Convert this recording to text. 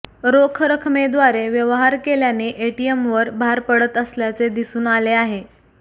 रोख रकमेद्वारे व्यवहार केल्याने एटीएमवर भार पडत असल्याचे दिसून आले आहे